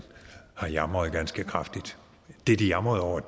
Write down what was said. har jamret ganske kraftigt det de jamrede over